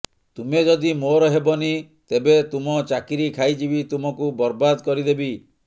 ତୁମେ ଯଦି ମୋର ହେବନି ତେବେ ତୁମ ଚାକିରି ଖାଇଯିବି ତୁମକୁ ବରବାଦ କରିଦେବି